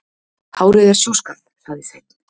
Hárið er sjúskað, sagði Sveinn.